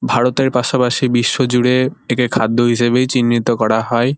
ভারতের পাশাপাশি বিশ্বজুড়ে একে খাদ্য হিসেবেই চিহ্নিত করা হয়।